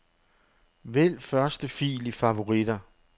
Vælg første fil i favoritter.